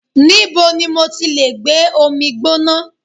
Níbo ni mo ti lè gbé omi gbóná.?